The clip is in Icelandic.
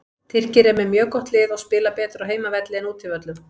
Tyrkir eru með mjög gott lið og spila betur á heimavelli en útivöllum.